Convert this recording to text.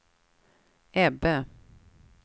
Ebbe